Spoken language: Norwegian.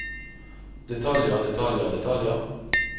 detaljer detaljer detaljer